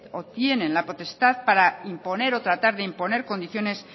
o tienen la potestad para imponer o tratar de imponer condiciones